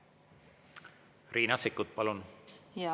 Riina Sikkut, palun!